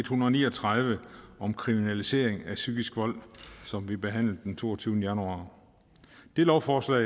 hundrede og ni og tredive om kriminalisering af psykisk vold som vi behandlede den toogtyvende januar det lovforslag